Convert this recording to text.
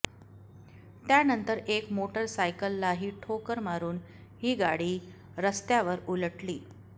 त्यानंतर एक मोटर सायकललाही ठोकर मारुन ही गाडी रस्त्यावरउलटली